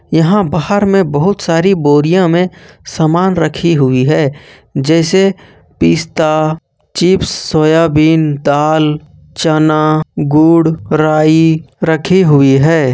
यहां बाहर में बहुत सारी बोरिया में समान रखी हुई है जैसे पिस्ता चिप्स सोयाबीन दाल चना गुड़ राई रखी हुई है।